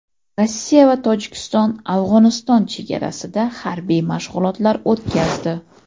Rossiya va Tojikiston Afg‘oniston chegarasida harbiy mashg‘ulotlar o‘tkazdi.